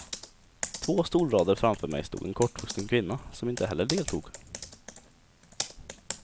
Två stolrader framför mig stod en kortvuxen kvinna som inte heller deltog.